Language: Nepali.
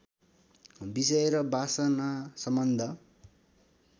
विषय र वासनासम्बद्ध